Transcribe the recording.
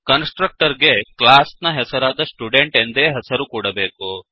ಕನ್ಸ್ ಟ್ರಕ್ಟರ್ ಗೆ ಕ್ಲಾಸ್ ನ ಹೆಸರಾದ ಸ್ಟುಡೆಂಟ್ ಎಂದೇ ಹೆಸರು ಕೊಡಬೇಕು